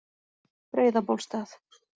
Breiðabólstað